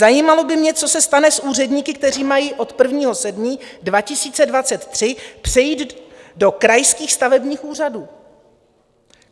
Zajímalo by mě, co se stane s úředníky, kteří mají od 1. 7. 2023 přejít do krajských stavebních úřadů.